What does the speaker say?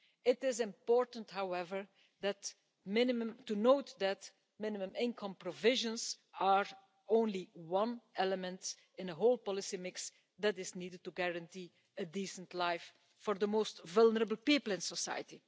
It is important, however, to note that minimum income provisions are only one element in the whole policy mix that is needed to guarantee a decent life for the most vulnerable people in society.